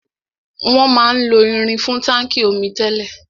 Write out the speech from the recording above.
Wọn máa ń lo irin fún táńkì omi tẹ́lẹ̀.